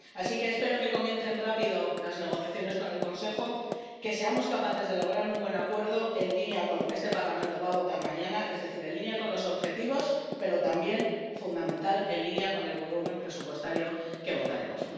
Así que espero que comiencen rápido las negociaciones con el Consejo, que seamos capaces de lograr un buen acuerdo en línea con lo que este Parlamento va a votar mañana, es decir, en línea con los objetivos, pero también —fundamental— en línea con el volumen presupuestario que votaremos.